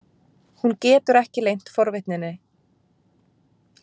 Hún getur ekki leynt forvitninni.